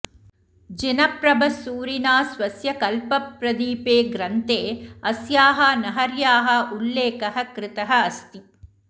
जिनप्रभसूरिणा स्वस्य कल्पप्रदीपे ग्रन्थे अस्याः नगर्याः उल्लेखः कृतः अस्ति